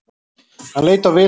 Hann leit á Vilhelm.